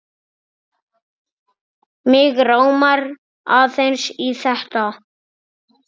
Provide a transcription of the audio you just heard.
Mig rámar aðeins í þetta.